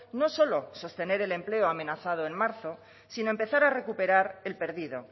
no solo sostener el empleo amenazado en marzo sino empezar a recuperar el perdido